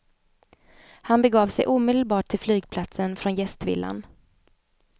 Han begav sig omedelbart till flygplatsen från gästvillan.